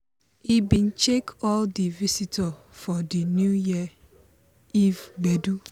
he bin shake all di visitor for di new year eve gbedu.